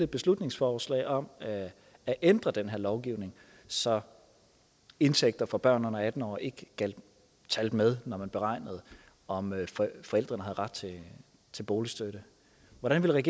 beslutningsforslag om at ændre den her lovgivning så indtægter for børn under atten år ikke talte med når man beregner om forældrene har ret til boligstøtte hvordan ville